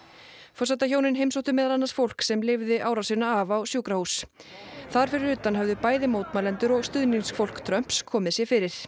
forsetahjónin heimsóttu meðal annars fólk sem lifði árásina af á sjúkrahús þar fyrir utan höfðu bæði mótmælendur og stuðningsfólk Trumps komið sér fyrir